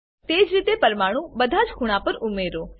તેજ રીતે પરમાણુ બધાજ ખૂણા પર ઉમેરો